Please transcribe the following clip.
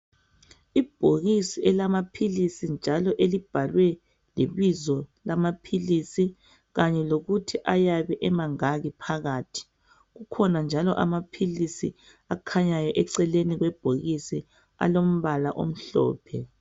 Ibhokisi elamaphilisi njalo elibhalwe lebizo lama philisi kanye lokuthi ayabe emangaki phakathi. Kukhona njalo amaphilisi akhanyayo eceleni kwebhokisi alombala omhlophe.